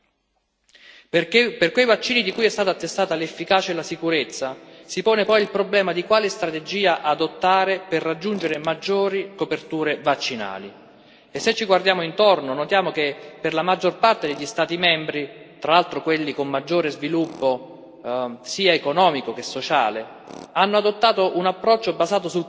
Perché, per quei vaccini di cui sono state testate l'efficacia e la sicurezza, si pone poi il problema di quale strategia adottare per raggiungere maggiori coperture vaccinali e, se ci guardiamo intorno, notiamo che la maggior parte degli Stati membri, tra l'altro quelli con maggiore sviluppo sia economico sia sociale, hanno adottato un approccio basato sul convincimento